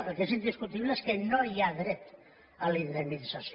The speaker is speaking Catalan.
el que és indiscutible és que no hi ha dret a la indemnització